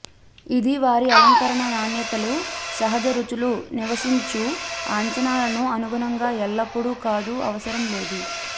ఇది వారి అలంకరణ నాణ్యతలు సహజ రుచులు నివసించు అంచనాలను అనుగుణంగా ఎల్లప్పుడూ కాదు అవసరం లేదు